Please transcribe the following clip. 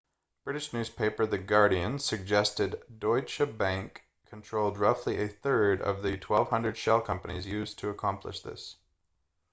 british newspaper the guardian suggested deutsche bank controlled roughly a third of the 1200 shell companies used to accomplish this